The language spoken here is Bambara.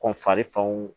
Ko fari fanw